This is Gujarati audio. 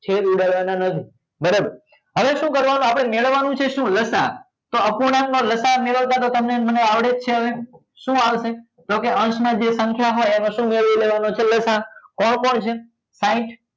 છેદ ઉડાડવા ના નથી બરોબર હવે શું કરવા નું આપડે મેળવવા નું છે શું લસા તો અપૂર્ણાંક માં લસા મેળવતા તો તમને ને મને આવડે જ છે હવે શું આવશે તો કે અંશ માં જે સંખ્યા હોય એનું શું મેળવી લેવા નો છે લસા કોણ કોણ છે સાહીંઠ